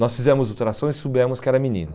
Nós fizemos ultrassom e soubemos que era menino.